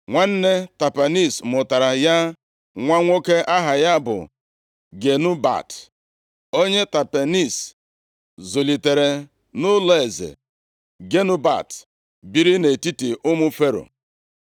Nwanne Tapenes mụtara ya nwa nwoke aha ya bụ Genubat, onye Tapenes zụlitere nʼụlọeze. Genubat biri nʼetiti ụmụ Fero.